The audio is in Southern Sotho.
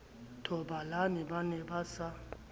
thobalane ba ne ba sa